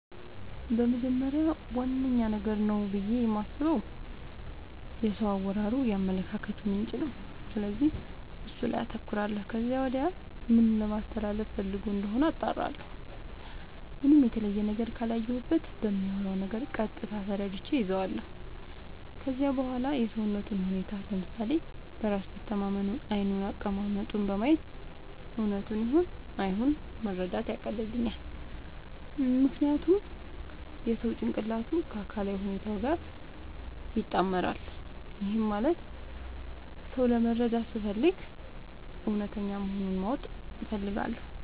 በመጀመሪያ ዋነኛ ነገር ነው ብዬ የማስበው የሰው አወራሩ የአመለካከቱ ምንጭ ነው፤ ስለዚህ እሱ ላይ አተኩራለው ከዚያም ወዲያ ምን ለማለስተላለፋ ፈልጎ እንደሆነ አጣራለሁ። ምንም የተለየ ነገር ካላየሁበት በሚያወራው ነገር ቀጥታ ተረድቼ እይዛለው። ከዚያም በዋላ የሰውነቱን ሁኔታ፤ ለምሳሌ በራስ መተማመኑን፤ ዓይኑን፤ አቀማመጡን በማየት እውነቱን ይሁን አይሁን መረዳት ያቀልልኛል። ምክንያቱም የሰው ጭንቅላቱ ከአካላዊ ሁኔታው ጋር ይጣመራል። ይህም ማለት ሰው ለመረዳት ስፈልግ እውነተኛ መሆኑን ማወቅ እፈልጋለው።